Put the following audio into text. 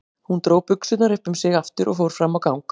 Hún dró buxurnar upp um sig aftur og fór fram á gang.